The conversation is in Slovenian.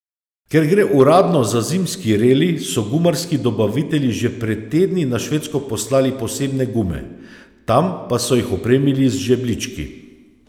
Ker gre uradno za zimski reli, so gumarski dobavitelji že pred tedni na Švedsko poslali posebne gume, tam pa so jih opremili z žebljički.